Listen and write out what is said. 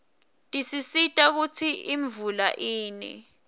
tisisita kutsi imvula ine